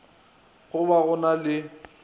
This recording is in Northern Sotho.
go ba go na le